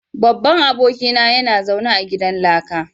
Babban abokina yana zaune a gidan laka